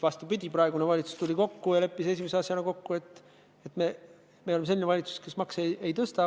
Vastupidi, valitsus tuli kokku ja leppis esimese asjana kokku, et me oleme selline valitsus, kes makse ei tõsta.